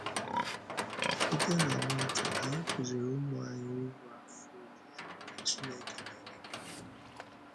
Site na nwata, anyị kụzìrì ụmụ anyị uru afọ ojuju nke Chineke na-enye bara.